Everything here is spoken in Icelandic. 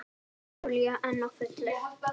Júlía enn á fullu.